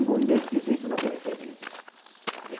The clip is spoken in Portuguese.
E os movimentos que existem na periferia, gente.